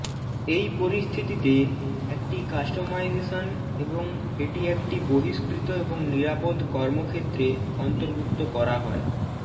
এই পরিস্থিতিতে একটি কাস্টমাইজেশন এবং এটি একটি বহিষ্কৃত এবং নিরাপদ কর্মক্ষেত্রে অন্তর্ভুক্ত করা হয়